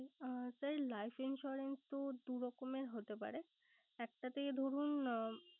আহ sir life insurance তো দুরকমের হতে পারে। একটা তে ধরুন